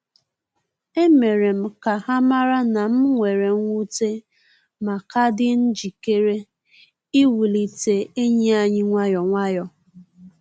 E mere m ka ha mara na m were nwute, ma ka dị njikere iwulite enyi anyi nwayọ nwayọ